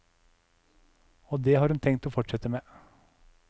Og det har hun tenkt å fortsette med.